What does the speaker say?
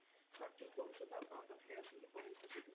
ସଠିକ ଔଷଧ ଆପଣଙ୍କ ପାଖରେ ଆସିକି ପହଞ୍ଚି ଯିବ